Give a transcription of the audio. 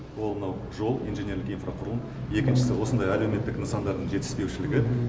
ол мынау жол инженерлік инфрақұрылым екіншісі осындай әлеуметтік нысандардың жетіспеушілігі